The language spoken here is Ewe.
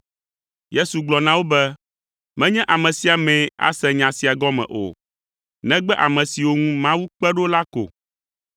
Yesu gblɔ na wo be, “Menye ame sia amee ase nya sia gɔme o, negbe ame siwo ŋu Mawu kpe ɖo la ko,